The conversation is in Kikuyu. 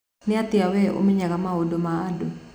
Nĩatia we ũmenyaga maũndũ ma andũ.